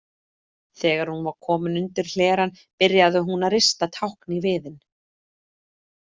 Þegar hún var komin undir hlerann byrjaði hún að rista tákn í viðinn.